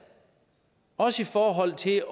også i forhold til